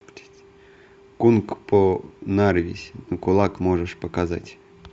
кунг по нарвись на кулак можешь показать